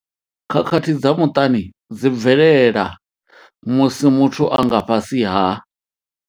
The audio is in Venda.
Khakhathi dza muṱani dzi bvelela musi muthu a nga fhasi ha.